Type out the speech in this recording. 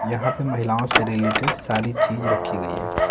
यहां पे महिलाओं से रिलेटेड सारी चीज रखी गई है ।